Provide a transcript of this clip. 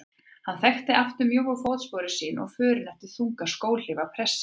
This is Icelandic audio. Hann þekkti aftur mjóu fótsporin sín og förin eftir þungar skóhlífar prestsins.